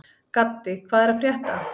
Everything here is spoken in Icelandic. Gaddi, hvað er að frétta?